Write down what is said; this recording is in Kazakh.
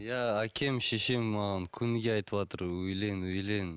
иә әкем шешем маған күніге айтыватыр үйлен үйлен